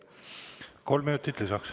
Kolm minutit lisaks.